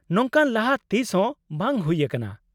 ᱱᱚᱝᱠᱟ ᱞᱟᱦᱟ ᱛᱤᱥ ᱦᱚᱸ ᱵᱟᱝ ᱦᱩᱭ ᱟᱠᱟᱱᱟ ᱾